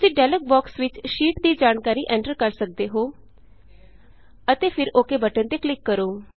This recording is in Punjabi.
ਤੁਸੀਂ ਡਾਇਲੌਗ ਬੋਕਸ ਵਿਚ ਸ਼ੀਟ ਦੀ ਜਾਣਕਾਰੀ ਐਂਟਰ ਕਰ ਸਕਦੇ ਹੋ ਅਤੇ ਫਿਰ ਓੱਕੇ ਓਕ ਬਟਨ ਤੇ ਕਲਿਕ ਕਰੋ